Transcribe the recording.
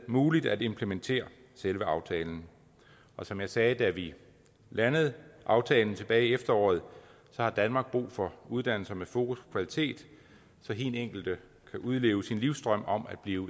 muligt at implementere selve aftalen som jeg sagde da vi landede aftalen tilbage i efteråret har danmark brug for uddannelser med fokus på kvalitet så hin enkelte kan udleve sin livsdrøm om at blive